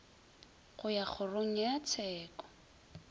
go ya kgorong ya tsheko